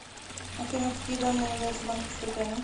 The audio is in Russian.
афина какие данные являются банковской тайной